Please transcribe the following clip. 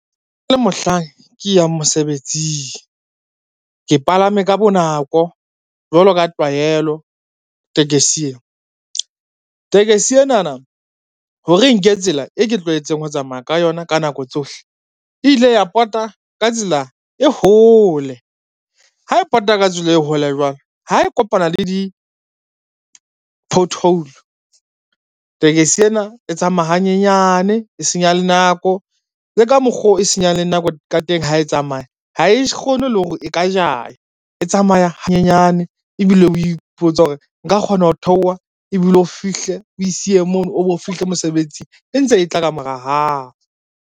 Le mohlang ke yang mosebetsing. Ke palame ka bonako jwalo ka tlwaelo tekesi ena. Tekesi enana ho re e nke tsela e ke tlwaetseng ho tsamaya ka yona ka nako tsohle, e ile ya pota ka tsela e hole, ha e pota ka tsela e hole jwalo ha e kopana le di-pothole tekesi ena e tsamaya hanyenyane e senya le nako, le ka mokgo e senyang le nako ka teng ha e tsamaya ha e kgone le hore e ka jaya e tsamaya hanyenyane ebile o ipotsa hore nka kgona ho theoha ebile o fihle o e siye mono, o bo fihle mosebetsing e ntse e tla kamora hao.